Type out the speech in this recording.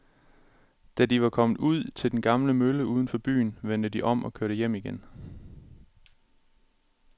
Da de var kommet ud til den gamle mølle uden for byen, vendte de om og kørte hjem igen.